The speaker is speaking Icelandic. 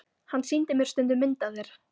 Hann sýndi mér stundum mynd af þér.